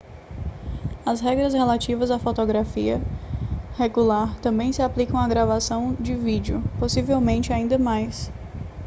as regras relativas à fotografia regular também se aplicam à gravação de vídeo possivelmente ainda mais